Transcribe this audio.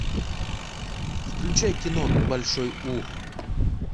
включай кино большой ух